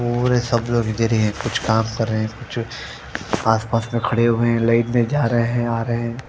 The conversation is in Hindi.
और सब लोग इधर ही है कुछ काम कर रहे है कुछ आस पास में खड़े हुए है लाइट लेजारे है आरे है।